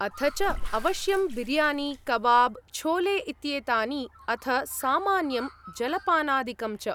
अथ च अवश्यं बिर्यानी, कबाब्, छोले इत्येतानि अथ सामान्यं जलपानादिकं च।